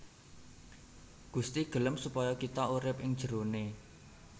Gusti gelem supaya kita urip ing jeroné